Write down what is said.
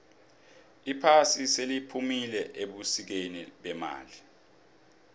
iphasi seliphumile ebusikeni bemali